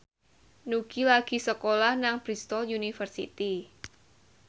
Nugie lagi sekolah nang Bristol university